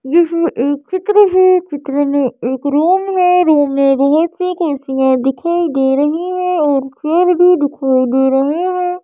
इसमें एक चित्र है चित्र में एक रूम है रूम में बहुत सी कुर्सियां दिखाई दे रही है और भी दिखाई दे रहे हैं।